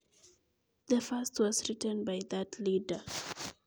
netai koki isarawan kandoinde noto